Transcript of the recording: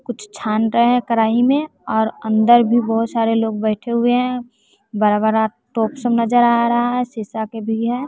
कुछ छान रहे हैं कराही में और अंदर भी बहोत सारे लोग बैठे हुए हैं बरा बरा तोप सब नजर आ रहा है शिशा के भी है।